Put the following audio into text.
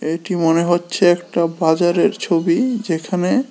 এটি মনে হচ্ছে একটা বাজারের ছবি যেখানে--